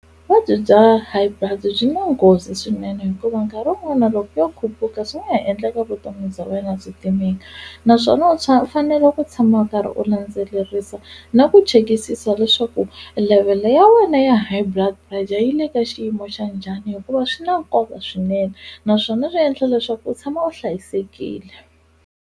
Vuvabyi bya High Blood byi na nghozi swinene hikuva nkarhi wun'wana loko yo khuphuka swi nga ha endleka vutomi bya wena byi timeka naswona u fanele ku tshama u karhi u landzelerisa na ku chekisisa leswaku level-e ya wena ya High Hlood Pressure yi le ka xiyimo xa njhani hikuva swi na nkoka swinene naswona swi endla leswaku u tshama u hlayisekile.